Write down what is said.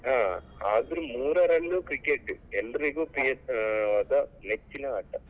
ಹಾ ಆದ್ರೂ ಮೂರರಲ್ಲೂ cricket ಎಲ್ಲರಿಗೂ ಆದ ನೆಚ್ಚಿನ ಆಟ.